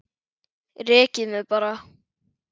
Rekið mig bara!